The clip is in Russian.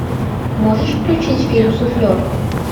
можешь включить фильм суфлер